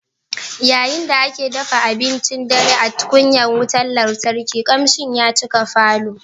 Yayin da ake dafa abincin dare da tukunyar wutar lantarki, kamshin ya cika falon